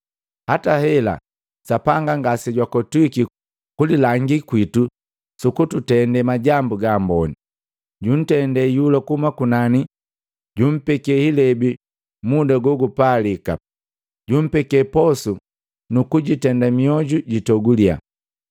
Hata hela, Sapanga ngasejwakotwiki kulilangi kwitu sukututende majambu gaamboni. Junndete iyula kuhuma kunani, junpeke hilebi muda gogupalika, jumpeke posu nukuitenda miojuji jitogulia.”